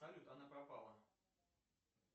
салют она пропала